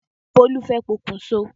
Bólú fẹ́ pokùn so.